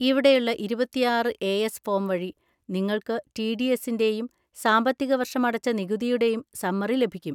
ഇവിടെയുള്ള ഇരുപത്തിയാറ് A S form വഴി നിങ്ങൾക്ക് ടി. ഡി. എസ്സിൻ്റെയും സാമ്പത്തികവർഷം അടച്ച നികുതിയുടെയും സമ്മറി ലഭിക്കും.